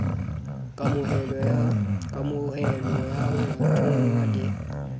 kamohelo ya ho thonngwa le